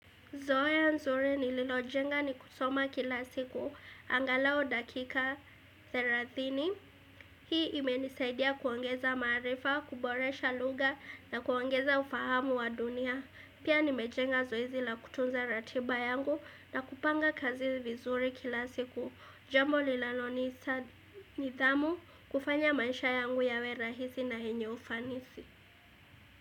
Zohea nzuri nililojenga ni kusoma kila siku, angalao dakika 30, hii imenisaidia kuongeza maarifa, kuboresha lugha na kuongeza ufahamu wa dunia. Pia nimejenga zoezi la kutunza ratiba yangu na kupanga kazi vizuri kila siku, jambo linalonita nidhamu, kufanya maisha yangu yawe rahisi na henye ufanisi.